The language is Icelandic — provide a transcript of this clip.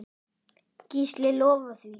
Gísli lofar því.